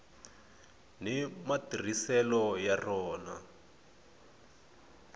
ni matirhiselo ya rona